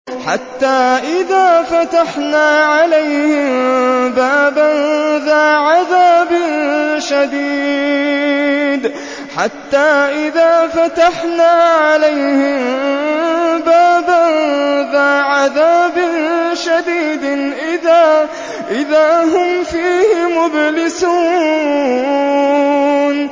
حَتَّىٰ إِذَا فَتَحْنَا عَلَيْهِم بَابًا ذَا عَذَابٍ شَدِيدٍ إِذَا هُمْ فِيهِ مُبْلِسُونَ